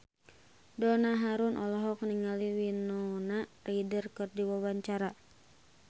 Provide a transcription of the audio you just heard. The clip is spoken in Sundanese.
Donna Harun olohok ningali Winona Ryder keur diwawancara